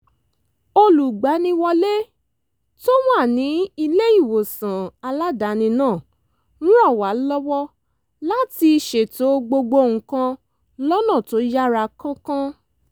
olùgbaniwọlé tó wà ní ilé-ìwòsàn aládàáni náà ràn wá lọ́wọ́ láti ṣètò gbogbo nǹkan lọ́nà tó yára kánkán